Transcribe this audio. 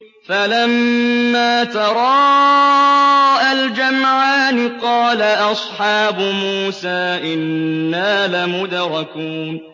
فَلَمَّا تَرَاءَى الْجَمْعَانِ قَالَ أَصْحَابُ مُوسَىٰ إِنَّا لَمُدْرَكُونَ